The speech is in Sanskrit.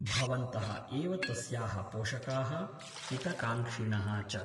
भवन्तः एव तस्याः पोषकाः हितकाङ्क्षिणः च ।